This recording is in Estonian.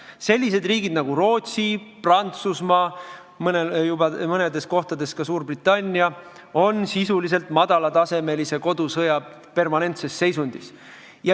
Sellised riigid nagu Rootsi, Prantsusmaa, mõnes kohas ka Suurbritannia on sisuliselt madala tasemega kodusõja permanentses seisundis.